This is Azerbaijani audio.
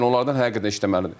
Yəni onlardan həqiqətən işləməlidir.